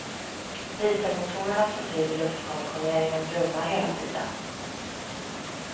Dieselmotorerna som driver luftkonditioneringen brummar hela tiden.